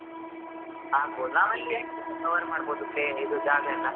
ಆಗಬಹುದ್ ನಾವ್ ಅಲ್ಲಿ ಎಂತ cover ಮಾಡ್ಬಹುದು place ಜಾಗ ಎಲ್ಲ?